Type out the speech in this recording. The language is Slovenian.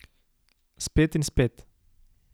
Spet in spet.